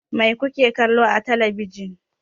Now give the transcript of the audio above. Mai kuke kallo a telebijin?